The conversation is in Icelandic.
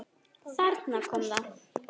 Þarna kom það!